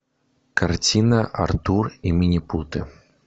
картина артур и минипуты